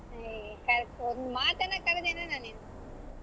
ಏ ಒಂದ್ ಮಾತನ ಕರದೇನಣ್ಣಾ ನೀನು.